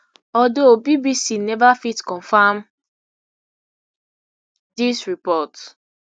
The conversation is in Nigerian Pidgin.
although bbc neva fit confam dis report